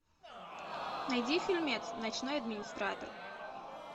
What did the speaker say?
найди фильмец ночной администратор